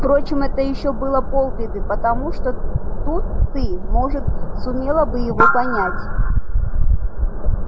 впрочем это ещё было полбеды потому что тут ты может сумела бы его понять